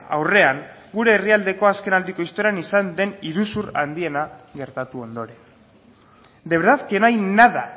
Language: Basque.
aurrean gure herrialdeko azken aldiko istorioan izan den iruzur handiena gertatu ondoren de verdad que no hay nada